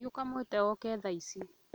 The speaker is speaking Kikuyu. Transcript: Thiĩ ũkamwĩte oke tha ici